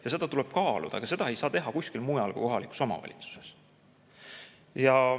Ja seda tuleb kaaluda, aga seda ei saa teha kuskil mujal kui kohalikus omavalitsuses.